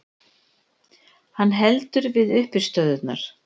Hann heldur við uppistöðurnar.